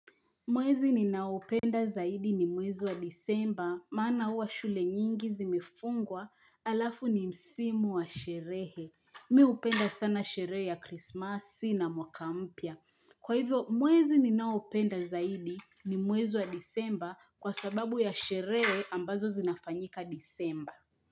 Mwezi ninaopenda zaidi ni mwezi wa disemba, maana huwa shule nyingi zimefungwa, alafu ni msimu wa sherehe. Mi hupenda sana sherehe ya Christmasi na mwaka mpya Kwa hivyo, mwezi ninaopenda zaidi ni mwezi wa disemba kwa sababu ya sherehe ambazo zinafanyika disemba.